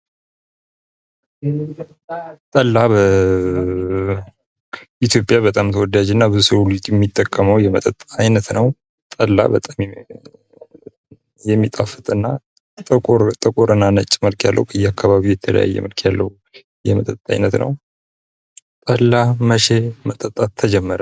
ጠላ በኢትዮጵያ በጣም ተወዳጅ እና ብዙ ሰዉ የሚጠቀመዉ የመጠጥ አይነት ነዉ። ጠላ በጣም የሚጣፍጥ እና ጥቁር እና ነጭ መልክ ያለዉ በየአካባቢዉ የተለየ መልክ ያለዉ የመጠጥ አይነት ነዉ። ጠላ መቼ መጠጣት ተጀመረ?